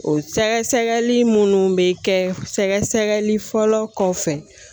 O sɛgɛsɛgɛli minnu bɛ kɛ sɛgɛsɛgɛli fɔlɔ kɔfɛ